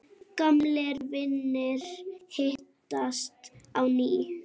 Gamlir vinir hittast á ný.